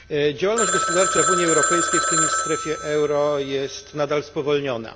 Działalność gospodarcza w Unii Europejskiej, w tym i w strefie euro, jest nadal spowolniona.